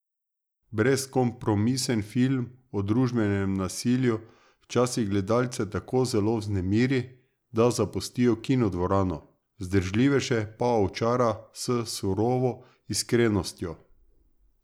Brezkompromisen film o družbenem nasilju včasih gledalce tako zelo vznemiri, da zapustijo kinodvorano, vzdržljivejše pa očara s surovo iskrenostjo.